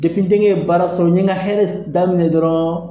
n denkɛ ye baara sɔrɔ, n ye n ka hɛrɛ daminɛ dɔrɔnw